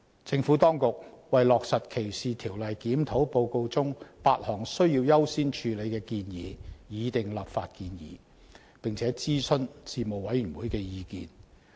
政府當局為落實歧視條例檢討報告中8項需要優先處理的建議擬訂立法建議，並徵詢事務委員會的意見。